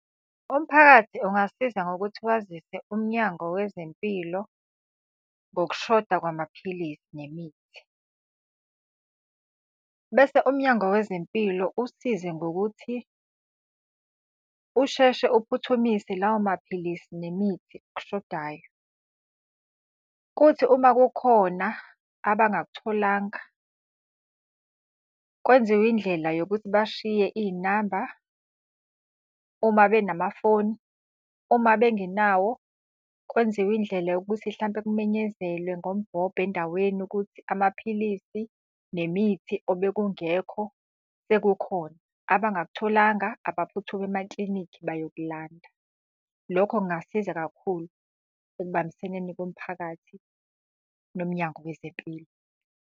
Umphakathi ungasiza ngokuthi wazise uMnyango wezeMpilo ngokushoda kwamaphilisi nemithi. Bese uMnyango wezeMpilo usize ngokuthi usheshe uphuthumise lawo maphilisi nemithi okushodayo. Kuthi uma kukhona abangakutholanga, kwenziwe indlela yokuthi bashiye iy'namba, uma benamafoni. Uma bengenawo kwenziwe indlela yokuthi hlampe kumenyezelwe ngombhobho endaweni ukuthi amaphilisi nemithi obekungekho sekukhona, abakutholanga abaphuthume emaklinikhi bayokulanda. Lokho kungasiza kakhulu ekubambiseneni komphakathi noMnyango wezeMpilo.